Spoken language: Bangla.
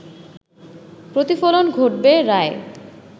প্রতিফলন ঘটবে রায়ে